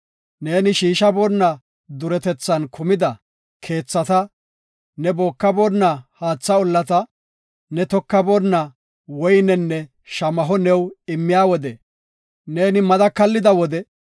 Neeni shiishaboona duretethan kumida keethata, ne bookaboona haatha ollata, ne tokaboonna woynenne shamaho new immiya wode, neeni mada kallida wode,